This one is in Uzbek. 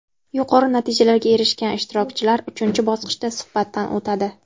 Yuqori natijalarga erishgan ishtirokchilar uchinchi bosqichda suhbatdan o‘tadi.